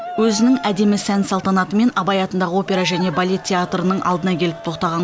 өзінің әдемі сән салтанатымен абай атындағы опера және балет театрының алдына келіп тоқтаған